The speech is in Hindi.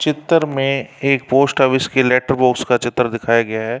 चितर में एक पोस्ट ऑफिस के लेटर बॉक्स की चित्र दिखाया गया है।